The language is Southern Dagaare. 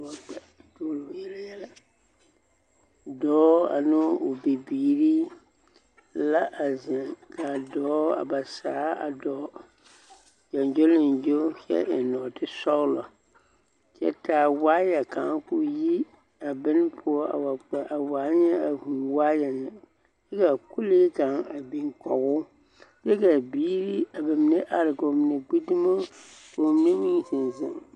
Dɔɔ ane o bibiiri la ziŋe kaa dɔɔ a ba saa doo gyogyoleŋgyo kyɛ eng nooti sɔŋlɔ kyɛ taa waayɛ kang yi a bon poɔ a kpe a waa nyɛ a vūū waayɛ na kyɛ ka kolee kang a biŋ kɔge kyɛ kaa biiri a mine are ka mine gbi dumo ka ba mine meŋ ziŋ -ziŋ.